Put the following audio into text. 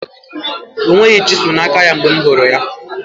O nweghị chiselu na aka ya mgbe m hụrụ ya